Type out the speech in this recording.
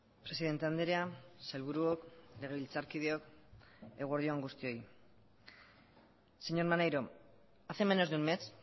presidente andrea sailburuok legebiltzarkideok eguerdi on guztioi señor maneiro hace menos de un mes